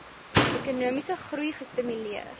ekonomiese groei gestimuleer